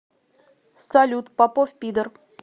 салют попов пидор